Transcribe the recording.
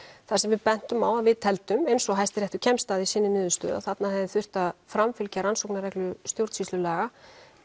þar sem við bentum á að við teldum eins og hæsti réttur kemst að í sinni niðurstöðu að þarna hefði þurft að framfylgja rannsóknarreglu stjórnsýslulaga